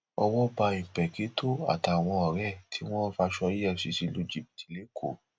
owó bá ìńpèkìtọ àtàwọn ọrẹ ẹ tí wọn ń faṣọ efcc lu jìbìtì lẹkọọ